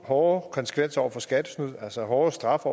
hårdere konsekvenser over for skattesnyd altså hårdere straffe